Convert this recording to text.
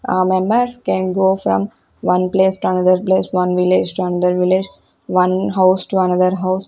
Ah Members can go from one place to another place one village to another village one house to another house.